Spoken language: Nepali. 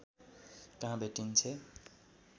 कहाँ भेटिन्छे